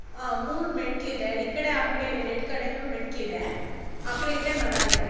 ಮೂರ ಮೆಟ್ಟಲಿದೆ ಆ ಕಡೆ ಈ ಕಡೆ ಎರ್ಡ್ ಕಡೆನೂ ಮೆಟ್ಟಲಿದೆ ಆಕಡೆ ಈಕಡೆ ಮರಾ ಇದೇ.